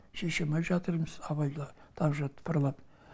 шеше алмай жатырмыз абайла так же тыпырлап